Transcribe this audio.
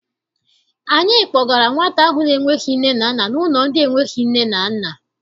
Anyị kpọgara nwata ahụ na-enweghị nne na nna n'ụlọ ndị enweghị nne na nna.